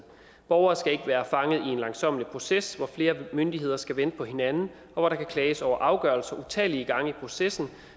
borgere skal ikke være fanget i en langsommelig proces hvor flere myndigheder skal vente på hinanden og hvor der kan klages over afgørelser utallige gange i processen